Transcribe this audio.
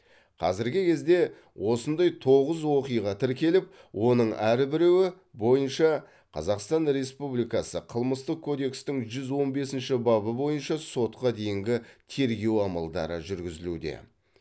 қазіргі кезде осындай тоғыз оқиға тіркеліп оның әрбіреуі бойынша қазақстан республикасы қылмыстық кодекстің жүз он бесінші бабы бойынша сотқа дейінгі тергеу амалдары жүргізілуде